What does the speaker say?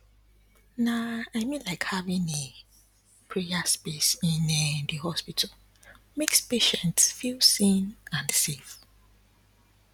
na i mean like having a prayer space in um the hospital makes patients feel seen and safe